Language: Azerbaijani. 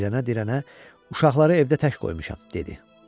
Dirənə-dirənə uşaqları evdə tək qoymuşam, dedi.